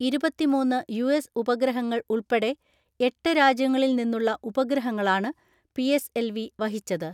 ഇരുപത്തിമൂന്ന് U S ഉപഗ്രഹങ്ങൾ ഉൾപ്പെടെ എട്ട് രാജ്യങ്ങളിൽ നിന്നുളള ഉപഗ്രഹങ്ങളാണ് പി എസ് എൽ വി വഹിച്ചത്.